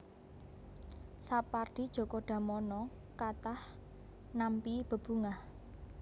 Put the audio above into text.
Sapardi Djoko Damono kathah nampi bebungah